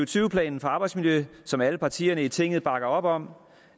tyve planen for arbejdsmiljø som alle partierne i tinget bakker op om